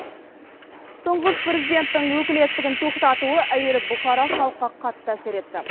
тұңғыш президенттің өкілеттігін тоқтатуы әуелі бұқара халыққа қатты әсер етті